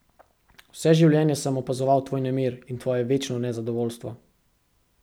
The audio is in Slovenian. Vse življenje sem opazoval tvoj nemir in tvoje večno nezadovoljstvo.